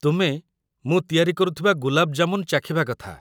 ତୁମେ ମୁଁ ତିଆରି କରୁଥିବା ଗୁଲାବ୍ ଜାମୁନ୍ ଚାଖିବା କଥା ।